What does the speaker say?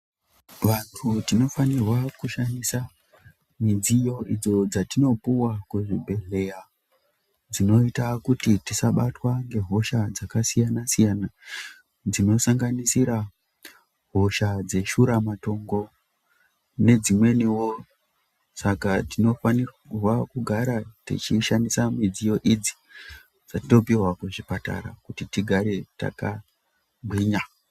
Vantu tinofanirwa kushandisa midziyo idzo dzatinopuwa kuzvibhedhlera dzinoita kuti tisabatwa ngehosha dzakasiyana siyana dzinosanganisira hosha dzeshura matongo nedzimweniwo saka tinofanirwa techishandisa midziyo idzi dzatinopihwa kuchipatara kuti tigare yakagwinya.